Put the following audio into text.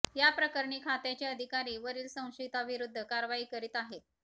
या प्रकरणी खात्याचे अधिकारी वरील संशयिताविरुद्ध कारवाई करीत आहेत